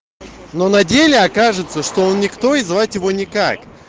но на деле окажется что он никто и звать его никак